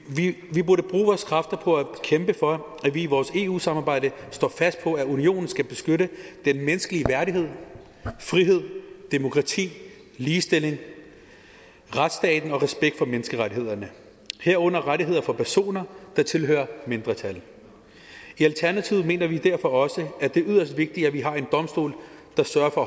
vi burde bruge vores kræfter på at kæmpe for at vi i vores eu samarbejde står fast på at unionen skal beskytte den menneskelige værdighed frihed demokrati ligestilling retsstaten og respekten for menneskerettighederne herunder rettigheder for personer der tilhører mindretal i alternativet mener vi derfor også at det er yderst vigtigt at vi har en domstol der sørger for